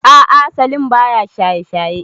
A'a salim baya shaye shaye